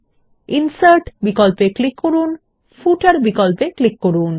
এখন মেনু বারের ইনসার্ট বিকল্পে ক্লিক করুন এবং তারপর ফুটার বিকল্পে ক্লিক করুন